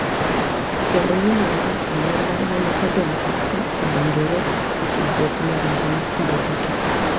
Kendo winjo mar anyuola ma ne odongo ka odonjore e tudruok mag mbui kinde duto.